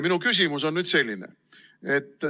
Minu küsimus on selline.